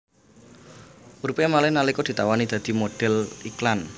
Uripé malih nalika ditawani dadi modhél iklan